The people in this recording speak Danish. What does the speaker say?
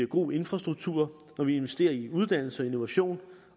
god infrastruktur når vi investerer i uddannelse og innovation